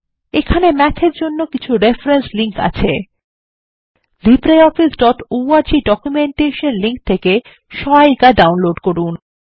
এখানে ম্যাথ এর জন্য কিছু রেফারেন্স লিঙ্ক আছে libreofficeঅর্গ ডকুমেন্টেশন লিঙ্ক থেকে সহায়িকা ডাউনলোড করুন